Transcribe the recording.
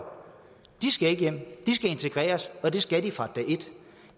skal ikke hjem de skal integreres og det skal de fra dag et